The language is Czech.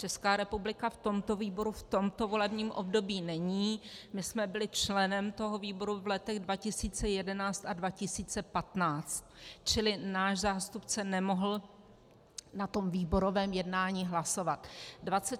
Česká republika v tomto výboru v tomto volebním období není, my jsme byli členem toho výboru v letech 2011 a 2015, čili náš zástupce nemohl na tom výborovém jednání hlasovat.